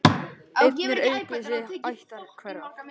Einn er aukvisi ættar hverrar.